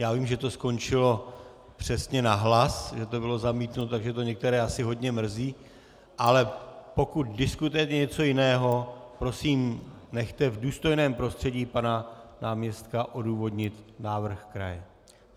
Já vím, že to skončilo přesně na hlas, že to bylo zamítnuto, takže to některé asi hodně mrzí, ale pokud diskutujeme něco jiného, prosím, nechte v důstojném prostředí pana náměstka odůvodnit návrh kraje.